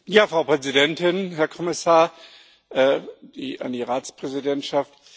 Frau Präsidentin, Herr Kommissar, an die Ratspräsidentschaft!